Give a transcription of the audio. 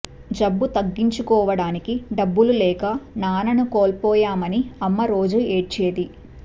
జబ్బు తగ్గించుకోవడానికి డబ్బులు లేక నాన్నని కోల్పోయామని అమ్మ రోజూ ఏడ్చేది